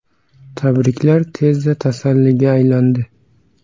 Tabriklar tezda tasalliga aylandi.